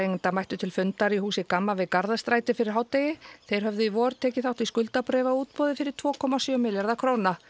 skuldabréfaeigenda mættu til fundar í húsi Gamma við Garðastræti fyrir hádegi þeir höfðu í vor tekið þátt í skuldabréfaútboði í fyrir tvö komma sjö milljarða króna